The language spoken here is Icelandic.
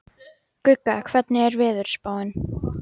Gugga, hvernig er veðurspáin?